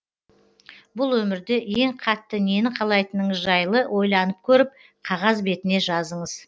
бұл өмірде ең қатты нені қалайтыныңыз жайлы ойланып көріп қағаз бетіне жазыңыз